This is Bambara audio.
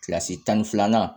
Kilasi tan ni filanan